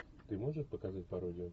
ты можешь показать пародию